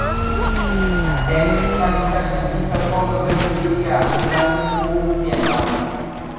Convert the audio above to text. þeir keltar sem hingað komu fluttu líklega ekki með sér búfénað